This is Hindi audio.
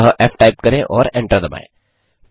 अतः फ़ टाइप करें और एंटर दबाएँ